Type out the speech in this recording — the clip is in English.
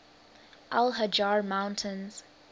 al hajar mountains